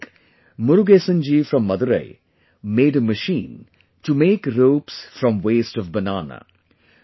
Like, Murugesan ji from Madurai made a machine to make ropes from waste of banana